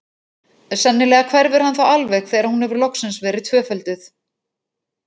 Sennilega hverfur hann þá alveg þegar hún hefur loksins verið tvöfölduð.